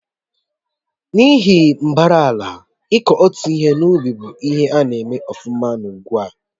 N'ihi mbara ala, iku otu ihe n'ubị́ bụ ihe na-eme ọfuma n'ugwu